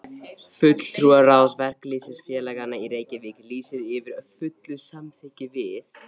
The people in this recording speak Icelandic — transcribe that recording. FULLTRÚARÁÐS VERKALÝÐSFÉLAGANNA Í REYKJAVÍK LÝSIR YFIR FULLU SAMÞYKKI VIÐ